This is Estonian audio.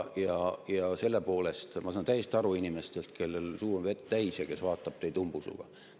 Ja selle poolest ma saan täiesti aru inimesest, kellel on suu vett täis ja kes vaatab teid umbusuga.